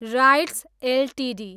rights Ltd